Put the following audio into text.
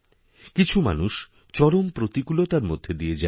কিছু মানুষ চরম প্রতিকূলতার মধ্যে দিয়ে যায়